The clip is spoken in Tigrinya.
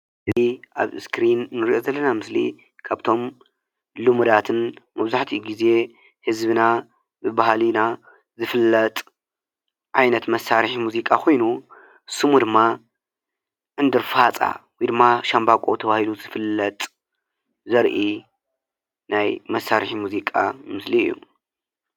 እዚ ኣብዚ እስክሪ ንሪኦ ዘለና ምስሊካብቶም ሉሙዳትን መብዛሕቲኡ ግዜ ህዝብና ብባህልና ዝፍለጥ ዓይነት መሳርሒ ሙዚቃ ኮይኑ ስሙ ድማ ዕንዱር ፋፃ ወይ ድማ ሻምበቆ ተባሂሉ ይፍለጥ ዘርኢ ናይ መሳርሒ ሙዚቃ ምስሊ እዩ ፡፡